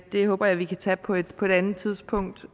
det håber jeg vi kan tage på et på et andet tidspunkt